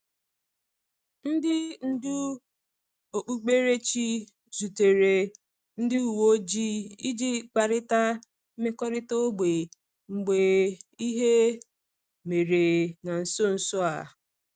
Ndị ndú okpukperechi zutere ndị uwe ojii iji kparịta mmekọrịta ógbè mgbe ihe mere na nso nso a.